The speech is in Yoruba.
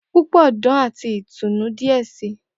Pupọ dan ati itunu diẹ sii.